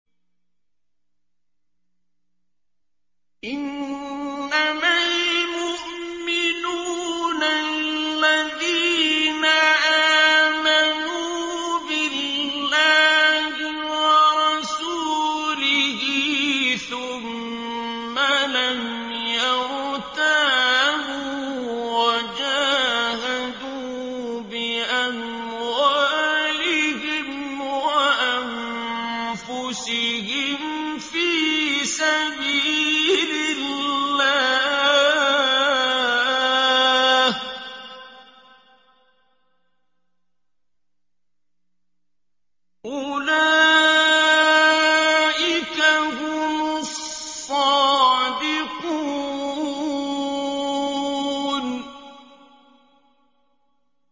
إِنَّمَا الْمُؤْمِنُونَ الَّذِينَ آمَنُوا بِاللَّهِ وَرَسُولِهِ ثُمَّ لَمْ يَرْتَابُوا وَجَاهَدُوا بِأَمْوَالِهِمْ وَأَنفُسِهِمْ فِي سَبِيلِ اللَّهِ ۚ أُولَٰئِكَ هُمُ الصَّادِقُونَ